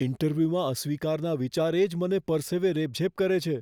ઈન્ટરવ્યૂમાં અસ્વીકારના વિચારે જ મને પરસેવે રેબઝેબ કરે છે.